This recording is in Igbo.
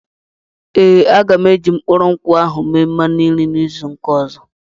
Ee, aga m eji mkpụrụ nkwụ ahụ eme mmanụ nri izu ụka ọzọ.